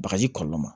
Bagaji kɔlɔlɔ ma